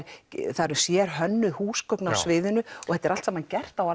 það eru sérhönnuð húsgögn á sviðinu og þetta er allt saman gert á